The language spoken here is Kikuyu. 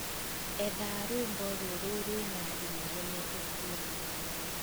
etha rwīmbo rūrū rwīna inegene ūguo